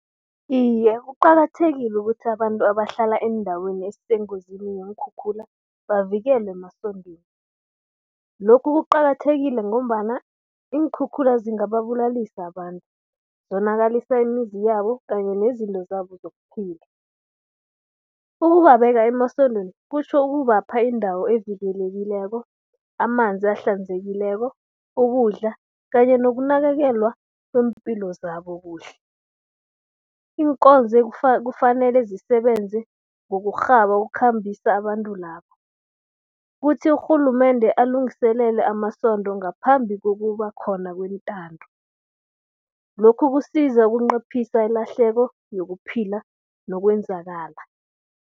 Iye kuqakathekile ukuthi abantu abahlala eendaweni ezisengozini zeenkhukhula, bavikelwe emasondweni. Lokhu kuqakathekile ngombana iinkhukhula zingababulalisa abantu, zonakalisa imizi yabo kanye nezinto zabo zokuphila. Ukubabeka emasondweni kutjho ukubapha indawo evikelekileko, amanzi ahlanzekileko, ukudla kanye nokunakekelwa kweempilo zabo kuhle. Iinkonzo kufanele zisebenze ngokurhaba ukukhambisa abantu labo. Kuthi urhulumende alungiselele amasondo ngaphambi kokuba khona kwentando. Lokhu kusiza ukunciphisa ilahleko yokuphila nokwenzakala.